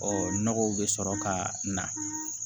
Ɔ nɔgɔw bɛ sɔrɔ ka na